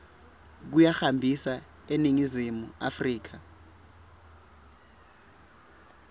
kuyihambisa eningizimu afrika